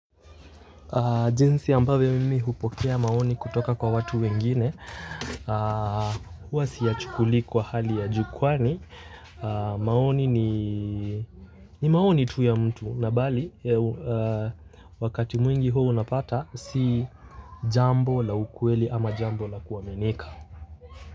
Jinsi ambavyo mimi hupokea maoni kutoka kwa watu wengine huwa siyachukulie kwa hali ya juu kwani maoni ni maoni tu ya mtu na mbali wakati mwingi huwa unapata si jambo la ukweli au jambo la kuaminika.